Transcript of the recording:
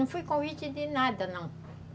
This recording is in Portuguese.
Não fui convite de nada, não.